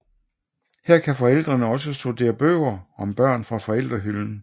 Her kan forældrene også studere bøger om børn fra forældrehylden